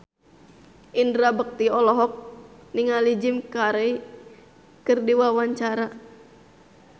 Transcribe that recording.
Indra Bekti olohok ningali Jim Carey keur diwawancara